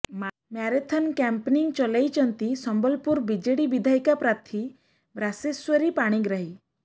marathon campaigning ଚଳାଇଛନ୍ତି ସମ୍ବଲପୁର ବିଜେଡି ବିଧାୟିକା ପ୍ରାର୍ଥୀ ରାସେଶ୍ୱରୀ ପାଣିଗ୍ରାହୀ